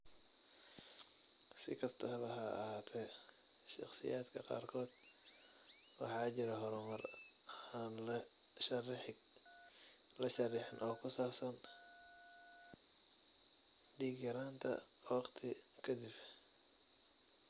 Si kastaba ha ahaatee, shakhsiyaadka qaarkood waxaa jira horumar aan la sharraxin oo ku saabsan dhiig-yaraanta waqti ka dib.